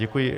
Děkuji.